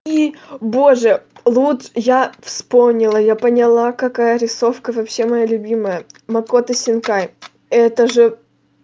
и боже луд я вспомнила я поняла какая рисовка вообще моя любимая макото синкай это же